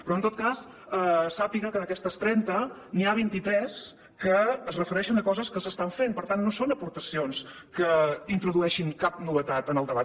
però en tot cas sàpiga que d’aquestes trenta n’hi ha vint i tres que es refereixen a coses que s’estan fent per tant no són aportacions que introdueixin cap novetat en el debat